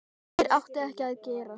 Þeir áttu ekki að gerast.